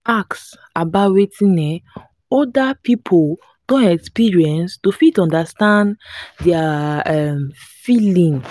ask about wetin um oda pipo don experience to fit understand their um feeling